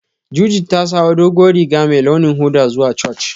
Judith ta sawo duguwan Riga mai ruwan hoda zuwa Church.